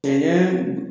Sɛgɛn